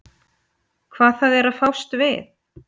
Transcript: Hvað það er að fást við.